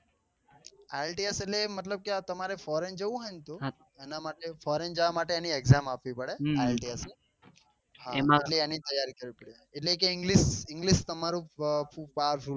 Ilts એટલે મતલબ કે આ તમારે foreign તો એના માટે foreign જવા માટે એની exam આપવી પડે આત્લીએસ ની એમાં એટલી એની તૈયારી કરવી પડે એટલે કે englishenglish તમારું power full હોવું જોઈએ એમ બસ